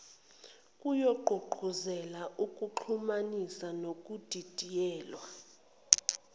kuyogqugquzela ukuxhumanisa nokudidiyelwa